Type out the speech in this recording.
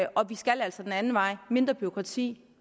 og vi skal altså den anden vej mindre bureaukrati